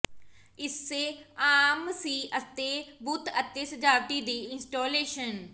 ਇਸੇ ਆਮ ਸੀ ਅਤੇ ਬੁੱਤ ਅਤੇ ਸਜਾਵਟੀ ਦੀ ਇੰਸਟਾਲੇਸ਼ਨ